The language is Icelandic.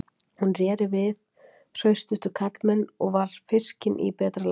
Hún réri á við hraustustu karlmenn og var fiskin í betra lagi.